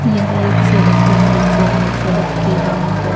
यह एक सड़क का दृश्य है सड़क के दोनो तरफ--